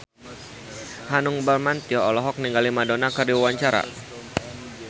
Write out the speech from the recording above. Hanung Bramantyo olohok ningali Madonna keur diwawancara